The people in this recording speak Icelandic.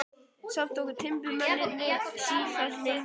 Samt tóku timburmennirnir sífellt lengri tíma.